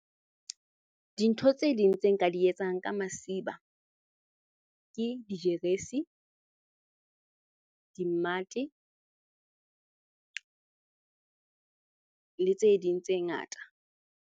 Dintho tse ding tse nka di etsang ka masiba ke dijeresi, dimmate le tse ding tse ngata.